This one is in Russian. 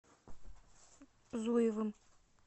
зуевым